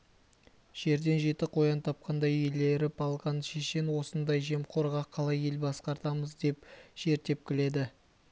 жерден жеті қоян тапқандай еліріп алған шешен осындай жемқорға қалай ел басқартамыз деп жер тепкіледі